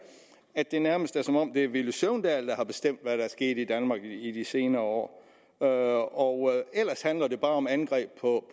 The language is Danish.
at det nærmest er som om det er herre villy søvndal der har bestemt hvad der er sket i danmark i de senere år og og ellers handler det bare om angreb på